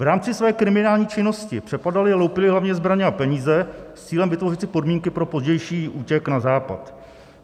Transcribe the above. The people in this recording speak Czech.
V rámci své kriminální činnosti přepadali a loupili hlavně zbraně a peníze s cílem vytvořit si podmínky pro pozdější útěk na Západ.